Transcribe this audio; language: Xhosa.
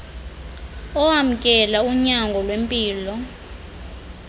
owamkela unyango lwempilo